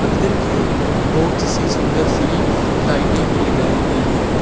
अंदर की ओर बहुत सी सुंदर सी लाइटे भी लगाई गई हैं।